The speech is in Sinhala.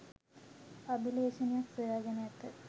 අභිලේඛනයක් සොයා ගෙන ඇත.